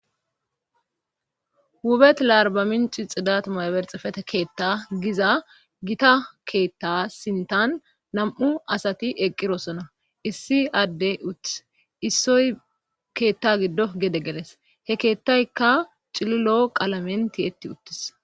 Hubet larbaminci xidatumayberxefete keetta giza gita keetta sintan nam'u asati eqqirosona issi adde uttis issoy keetta giddo gede geles he keettaykka cililoo qalamenti yetti uttis.